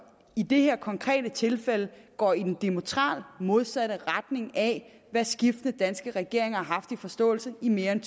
i det her konkrete tilfælde går i den diametralt modsatte retning af hvad skiftende danske regeringer har haft som forståelse i mere end